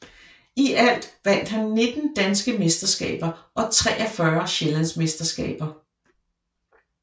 I alt vandt han 19 danske mesterskaber og 43 sjællandsmesterskaber